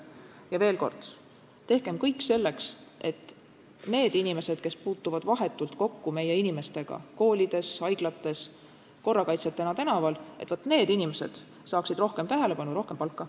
Ja veel kord: tehkem kõik selleks, et need inimesed, kes puutuvad vahetult kokku meie inimestega koolides, haiglates, korrakaitsjatena tänaval, et need inimesed saaksid rohkem tähelepanu, rohkem palka.